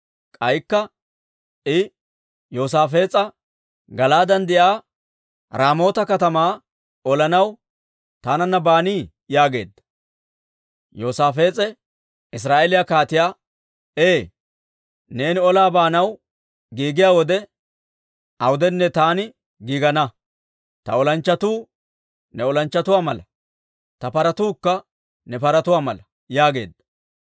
K'aykka I Yoosaafees'a, «Gala'aaden de'iyaa Raamoota katamaa olanaw taananna baanii?» yaageedda. Yoosaafees'e Israa'eeliyaa kaatiyaa, «Ee, neeni olaa baanaw giigiyaa wode awudenne, taani giigana. Ta olanchchatuu ne olanchchatuwaa mala; ta paratuukka ne paratuwaa mala» yaageedda.